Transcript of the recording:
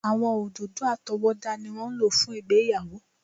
Àwọn òdòdó àtọwọ́dá ni wọ́n ń lò fún ìgbéyàwó.